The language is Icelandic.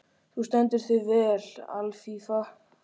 Þú stendur þig vel, Alfífa!